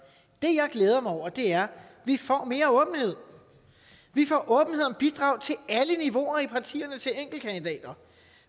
det jeg glæder mig over er at vi får mere åbenhed vi får åbenhed om bidrag til alle niveauer i partierne og til enkeltkandidater